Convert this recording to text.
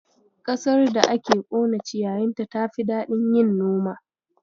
Ƙasar da aka ƙone ciyayinta tafi daɗin yin noma.